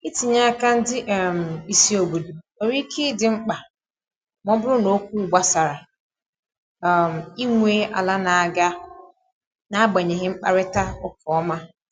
itinye aka ndị um isi obodo nwere ike idi mkpa ma ọ bụrụ na okwu gbasara um inwe ala n'aga na agbanyeghị mkparịta ụka ọma